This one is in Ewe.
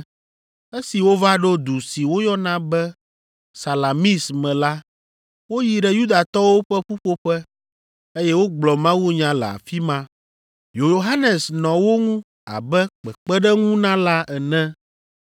Esi wova ɖo du si woyɔna be Salamis me la, woyi ɖe Yudatɔwo ƒe ƒuƒoƒe, eye wogblɔ mawunya le afi ma. Yohanes nɔ wo ŋu abe kpekpeɖeŋunala ene.